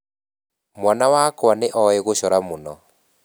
Mwana wakwa nĩ oĩ gucora mũno